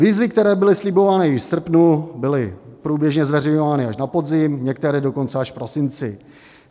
Výzvy, které byly slibovány již v srpnu, byly průběžně zveřejňovány až na podzim, některé dokonce až v prosinci.